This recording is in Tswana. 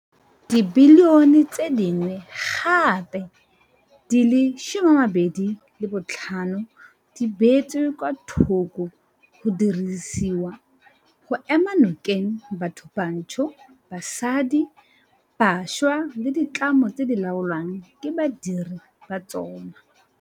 Dibilione tse dingwe gape di le 25 di beetswe kwa thoko go dirisediwa go ema nokeng bathobantsho, basadi, bašwa le ditlamo tse di laolwang ke badiredi ba tsona.